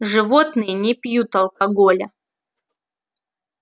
животные не пьют алкоголя